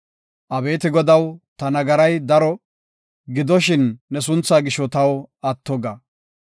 Abeeti Godaw, ta nagaray daro; gidoshin ne sunthaa gisho taw atto ga.